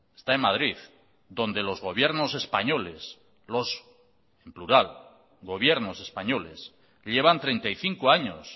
está en madrid donde los gobiernos españoles los en plural los gobiernos españoles llevan treinta y cinco años